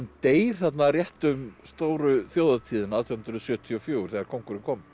deyr þarna rétt um stóru þjóðhátíðina átján hundruð sjötíu og fjögur þegar kóngurinn kom